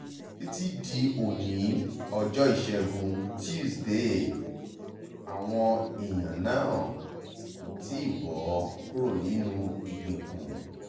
títí di oní ọjọ́ ìṣègùn túṣìdée àwọn èèyàn náà kò tí ì bọ́ kúrò nínú ìgbèkùn